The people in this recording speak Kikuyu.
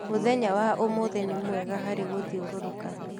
Mũthenya wa ũmũthĩ nĩ mwega harĩ gũthiũrũrũka..